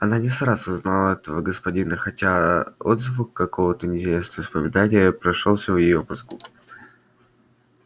она не сразу узнала этого господина хотя отзвук какого-то неясного воспоминания прошелестел в её мозгу